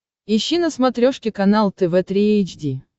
ищи на смотрешке канал тв три эйч ди